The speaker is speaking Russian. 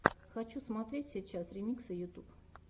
хочу смотреть сейчас ремиксы ютьюб